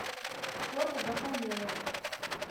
фото бакалея